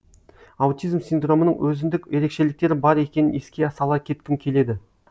аутизм синдромының өзіндік ерекшеліктері бар екенін еске сала кеткім келеді